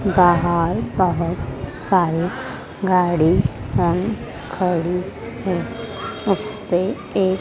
बाहर बहुत सारे गाड़ियां खड़ी हैं उसपे एक--